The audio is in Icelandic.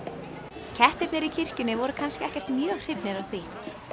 kettirnir í kirkjunni voru kannski ekkert mjög hrifnir af því